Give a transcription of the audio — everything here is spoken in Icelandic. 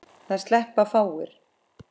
Það sleppa fáir.